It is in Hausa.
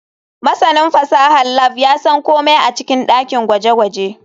Masanin fasahar lab ya san komai a cikin dakin gwaje-gwaje.